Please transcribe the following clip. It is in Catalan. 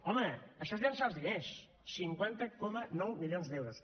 home això és llançar els diners cinquanta coma nou milions d’euros